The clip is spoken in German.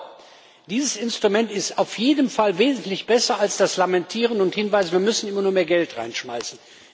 Aber dieses Instrument ist auf jeden Fall wesentlich besser als das Lamentieren und der Hinweis Wir müssen immer nur mehr Geld reinschmeißen.